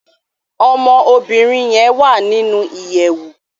Ọmọ obìrin yen wá nínú ìyèwù.